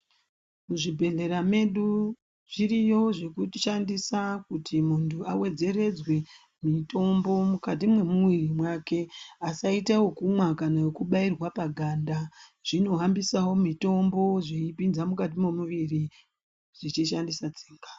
Muzvibhedhlera medu zviriyo zvinoshandiswa kuti muntu awedzere mutombo mukati memwiri wako asaaite wekumwa kana kubairwa paganda ,zvinohambisawo mutombo mukati memwiri zvichishandisa tsinga.